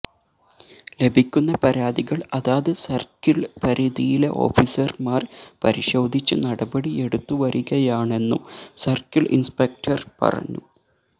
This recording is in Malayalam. ലഭിക്കുന്ന പരാതികള് അതാത് സര്ക്കിള് പരിധിയിലെ ഓഫീസര്മാര് പരിശോധിച്ച് നടപടി എടുത്തുവരികയാണെന്നും സര്ക്കിള് ഇന്സ്പെക്ടര് പറഞ്ഞു